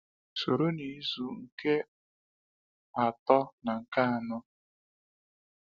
Soro n’izu nke atọ na nke anọ.